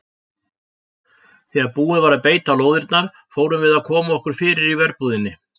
Þegar búið var að beita lóðirnar fórum við að koma okkur fyrir í verbúðinni.